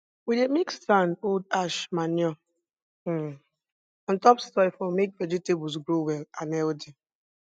we dey mix sand old ash manure um on top soil for make vegetables grow well and healthy